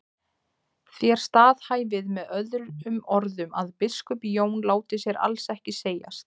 Þér staðhæfið með öðrum orðum að biskup Jón láti sér alls ekki segjast.